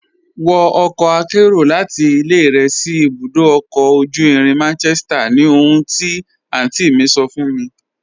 Wọ ọkọ àkẹ́ro láti ilẹ̀ rẹ sí ibùdó ọ̀kọ̀ ojú irin Manchester ni ohùn ti àntí mi sọ̀ fún mi.